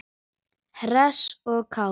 Hress og kát.